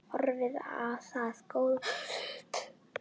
Horfði á það góða stund.